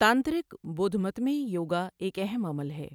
تانترک بدھ مت میں یوگا ایک اہم عمل ہے۔